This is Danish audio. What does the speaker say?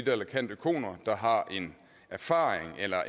eller candoeconer der har erfaring eller